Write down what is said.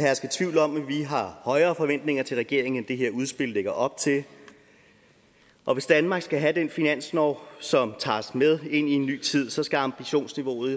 herske tvivl om at vi har højere forventninger til regeringen end det her udspil lægger op til og hvis danmark skal have den finanslov som tager os med ind i en ny tid så skal ambitionsniveauet